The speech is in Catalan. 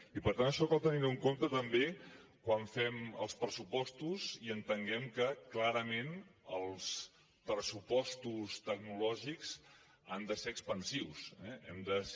i per tant això cal tenir ho en compte també quan fem els pressupostos i entenguem que clarament els pressupostos tecnològics han de ser expansius hem de ser